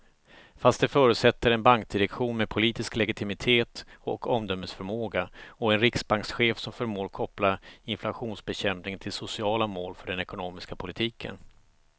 Fast det förutsätter en bankdirektion med politisk legitimitet och omdömesförmåga och en riksbankschef som förmår koppla inflationsbekämpning till sociala mål för den ekonomiska politiken.